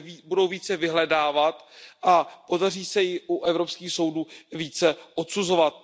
budou více vyhledávat a podaří se ji u evropských soudů více odsuzovat.